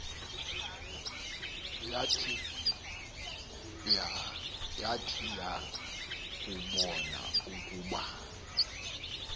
yat yakubon ukuba